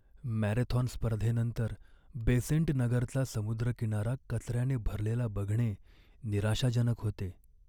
Marathon स्पर्धेनंतर बेसेंट नगरचा समुद्रकिनारा कचऱ्याने भरलेला बघणे निराशाजनक होते.